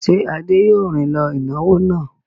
Ṣé Adé yóò rìn lọ ìnáwó náà?